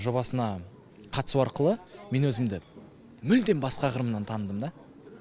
жобасына қатысу арқылы мен өзімді мүлдем басқа қырымнан таныдым да